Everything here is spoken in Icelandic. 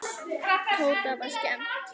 Tóta var skemmt.